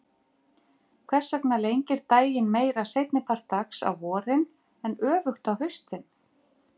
Hvers vegna lengir daginn meira seinni part dags á vorin en öfugt á haustin?